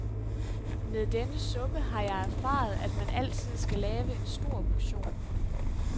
Med denne suppe har jeg erfaret, at man altid skal lave en stor portion.